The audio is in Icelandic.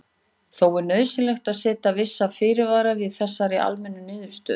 Þó er nauðsynlegt að setja vissa fyrirvara við þessari almennu niðurstöðu.